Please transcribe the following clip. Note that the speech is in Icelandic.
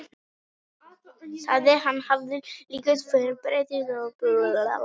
Sagðist hann hafa tilkynnt yfirvöldum í Berlín, að uppreisn hefði verið gerð á skipinu.